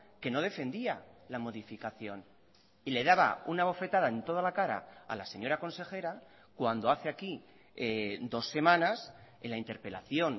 que no defendía la modificación y le daba una bofetada en toda la cara a la señora consejera cuando hace aquí dos semanas en la interpelación